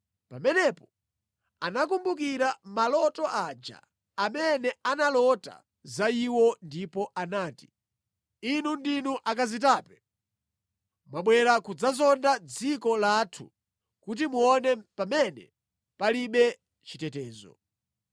Pamenepo anakumbukira maloto aja amene analota za iwo ndipo anati, “Inu ndinu akazitape! Mwabwera kudzazonda dziko lathu kuti muone pamene palibe chitetezo.”